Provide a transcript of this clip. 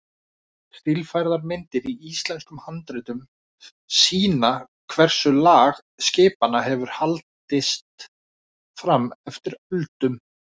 Stílfærðar myndir í íslenskum handritum sýna hversu lag skipanna hefur haldist fram eftir öldum.